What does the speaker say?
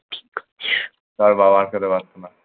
তার বাবাও আটকাতে পারত না।